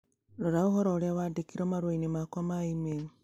Rora ũhoro ũrĩa wandĩkirũo marũa-inĩ makwa ma e-mail